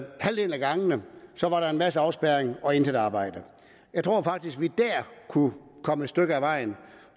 gangene var der en masse afspærring og intet arbejde jeg tror faktisk at vi dér kunne komme et stykke ad vejen